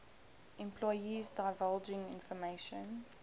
employees divulging information